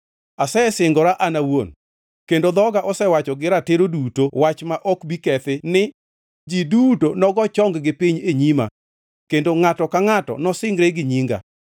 Asesingora an awuon, kendo dhoga osewacho gi ratiro duto wach ma ok bi kethi ni: Ji duto nogo chong-gi piny e nyima; kendo ngʼato ka ngʼato nosingre gi nyinga.